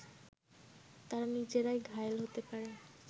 তারা নিজেরাই ঘায়েল হতে পারে